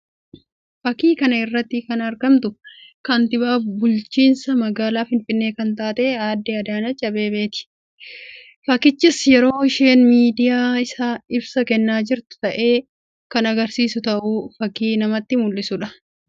Fakkii kana irratti kan argamtu kantiibaa bukchiisa magaalaa Finfinnee kan taate aadde Adaaneech Abeebee ti. Fakkichis yeroo isheen miidiyaaf ibsa kennaa jirtu ta'ee kan argisiisu ta'uu fakkii namatti mul'isuu dha.